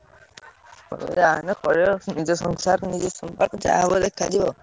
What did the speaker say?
ଯାହା ଗୋଟେ କରିବା ଯାହା ବୋଇଲେ କରିବ।